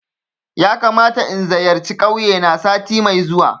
Yakamata in zayarci kauye na sati mai zuwa